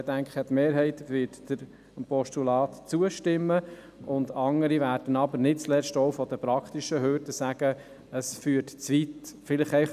Die Mehrheit wird dem Postulat zustimmen, andere werden aber nicht zuletzt auch aufgrund der praktischen Hürde sagen, dass dies zu weit führt.